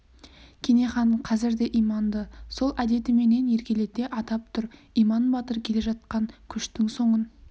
кене хан қазір де иманды сол әдетіменен еркелете атап тұр иман батыр келе жатқан көштің соңын